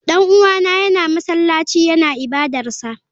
Dan uwana yana masallaci yana ibadarsa.